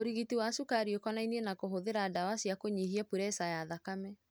Urigiti wa cukari ũkonainie na kũhũthĩra ndawa cia kũnyihia puresa ya thakame.